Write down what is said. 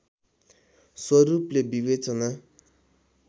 स्वरूपले विवेचना